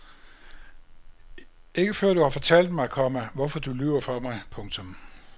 Ikke før du har fortalt mig, komma hvorfor du lyver for mig. punktum